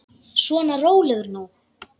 Svona, rólegur nú.